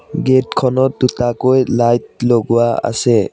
Gate খনত দুটাকৈ light লগোৱা আছে।